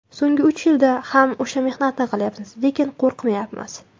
So‘nggi uch yilda ham o‘sha mehnatni qilyapmiz, lekin qo‘rqmayapmiz.